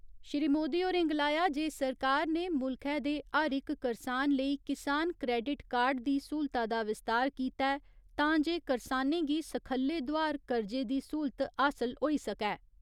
श्री मोदी होरें गलाया जे सरकार ने मुल्खै दे हर इक करसान लेई किसान क्रेडिट कार्ड दी स्हूलता दा विस्तार कीता ऐ तां जे करसानें गी सखल्ले दोआर कर्जे दी स्हूलत हासल होई सकै।